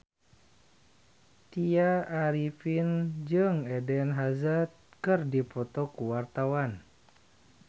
Tya Arifin jeung Eden Hazard keur dipoto ku wartawan